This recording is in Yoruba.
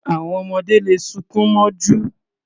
Àwọn ọmọdé le sunkún mọ́jú.